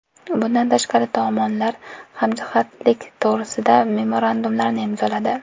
Bundan tashqari, tomonlar hamjihatlik to‘g‘risida memorandumlarni imzoladi.